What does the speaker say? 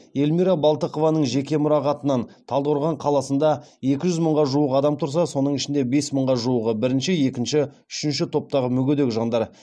эльмира балтықованың жеке мұрағатынан талдықорған қаласында екі жүз мыңға жуық адам тұрса соның ішінде бес мыңға жуығы бірінші екінші үшінші топтағы мүгедек жандар